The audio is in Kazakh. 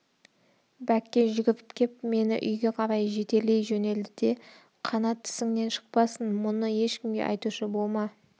бәкке жүгіріп кеп мені үйге қарай жетелей жөнелді де қанат тісіңнен шықпасын мұны ешкімге айтушы болма